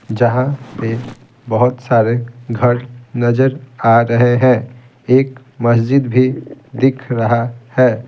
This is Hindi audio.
जहाँ पे बहुत सारे घर नजर आ रहे हैं एक मस्जिद भी दिख रहा है।